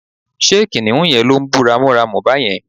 ṣe kìnìhún yẹn lo ń bú ramúramù bàyẹn?